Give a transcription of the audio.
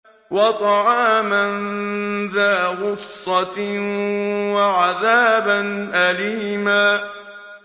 وَطَعَامًا ذَا غُصَّةٍ وَعَذَابًا أَلِيمًا